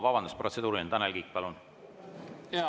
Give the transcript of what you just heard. Vabandust, protseduuriline, Tanel Kiik, palun!